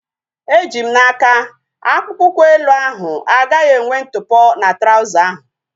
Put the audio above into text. Eji m n'aka, akpụkpọ ụkwụ elu ahu agaghị enwe ntụpọ na trauza ahu